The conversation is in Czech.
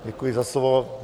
Děkuji za slovo.